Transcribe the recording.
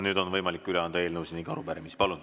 Nüüd on võimalik üle anda eelnõusid ning arupärimisi.